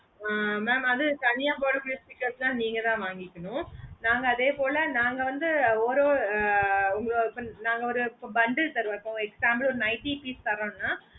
ஆஹ் mam அது தனியா போடா வேண்டிய stickers எல்லாமே நீங்கதான் வாங்கிக்கினும் நாங்க அதே போல நாங்க வந்து ஒரு ஆஹ் உங்கள நாங்க ஒரு bundle தருவோம் இப்போ for example ஒரு nightly piece தாறோம்னா